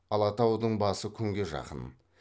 алатаудың басы күнге жақын